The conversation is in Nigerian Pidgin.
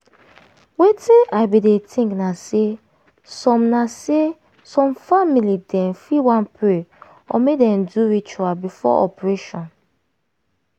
wetin i bin dey think na say some na say some family dem fit wan pray or make dem do ritual before operation.